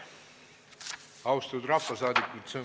Austatud rahvasaadikud!